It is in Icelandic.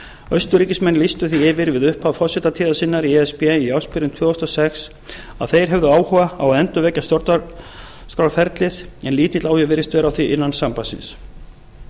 austurríkismenn lýstu því yfir við upphaf forsetatíðar sinnar í e s b í ársbyrjun tvö þúsund og sex að þeir hefðu áhuga á að endurvekja stjórnarskrárferlið en lítill áhugi virðist vera á því innan sambandsins